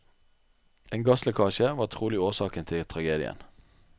En gasslekkasje var trolig årsaken til tragedien.